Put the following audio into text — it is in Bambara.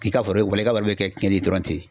K'i ka foro walahi i ka foro bɛ bɛ cɛnni ye dɔrɔn ten.